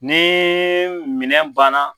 Ne minɛn banna